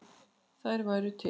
Þær væru til.